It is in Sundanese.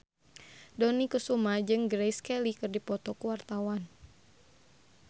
Dony Kesuma jeung Grace Kelly keur dipoto ku wartawan